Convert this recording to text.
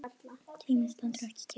Tíminn stendur ekki kyrr.